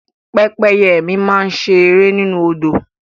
Pẹ́pẹ́yẹ mi máa ń ṣe eré nínú Odò